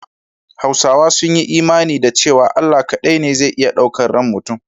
Hausawa sun yi imani da cewa Allah kaɗai ne zai iya ɗaukan ran mutum.